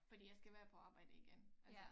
Fordi jeg skal være på arbjede igen altså